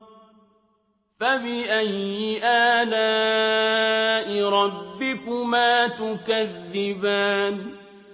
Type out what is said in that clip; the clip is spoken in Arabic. فَبِأَيِّ آلَاءِ رَبِّكُمَا تُكَذِّبَانِ